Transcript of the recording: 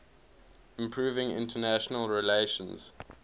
improving international relations